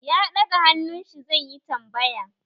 Ya daga hannun shi zai yi tambaya.